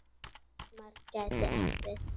Hjálmar gæti átt við